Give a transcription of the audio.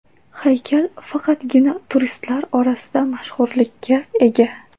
Haykal faqatgina turistlar orasida mashhurlikka ega.